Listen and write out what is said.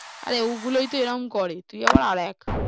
আরে ওগুলোই এরকম করে, তুই আবার আর এক